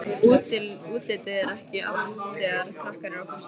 Útlitið er ekki allt þegar krakkar eru á föstu.